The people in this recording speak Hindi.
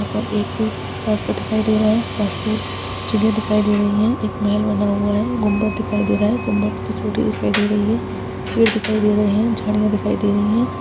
यहा पर एक रास्ता दिखाई दे रहा है रास्ते चिड़िया दिखाई दे रही है एक महेल बना हुआ है गुंबज दिखाई दे रहा है गुंबज पे चोटी दिखाई दे रही है पेड़ दिखाई दे रहे है जाड़िया दिखाई दे रही है।